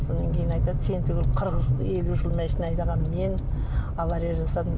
содан кейін айтады сен түгілі қырық елу жыл машина айдаған мен авария жасадым